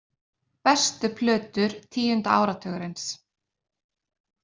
Bestu plötur tíunda áratugarins